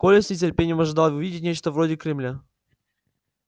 коля с нетерпением ожидал увидеть нечто вроде кремля